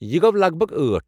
یہِ گو٘و، لگ بھگ ٲٹھ؟